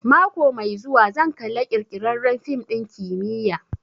Mako mai zuwa zan kalla ƙirƙirarren fim ɗin kimiyya